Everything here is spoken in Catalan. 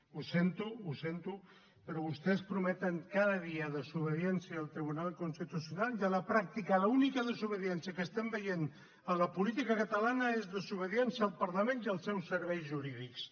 ho sento ho sento però vostès prometen cada dia desobediència al tribunal constitucional i a la pràctica l’única desobediència que estem veient en la política catalana és desobediència al parlament i als seus serveis jurídics